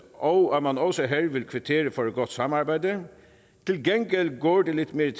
og at man også her vil kvittere for et godt samarbejde til gengæld går det lidt mere